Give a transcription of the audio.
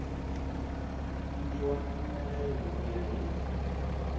nyikiwa mpfumelelo ku ya hi